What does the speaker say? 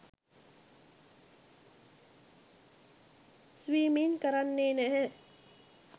Swimming කරන්නේ නැහැ.